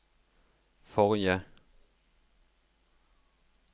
forrige